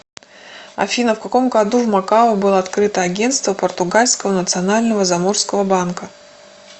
афина в каком году в макао было открыто агенство португальского национального заморского банка